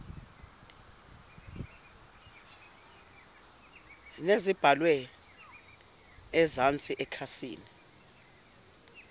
nezibhalwe ezansi nekhasi